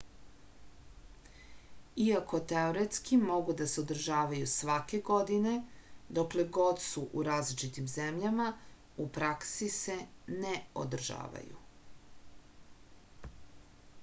иако теоретски могу да се одржавају сваке године докле год су у различитим земљама у пракси се не одржавају